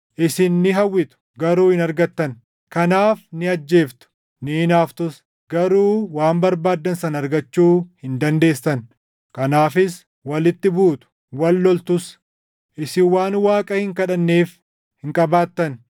Isin ni hawwitu; garuu hin argattan. Kanaaf ni ajjeeftu; ni hinaaftus. Garuu waan barbaaddan sana argachuu hin dandeessan. Kanaafis walitti buutu; wal loltus. Isin waan Waaqa hin kadhanneef hin qabaattan.